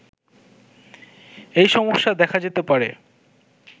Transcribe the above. এইসমস্যা দেখা যেতে পারে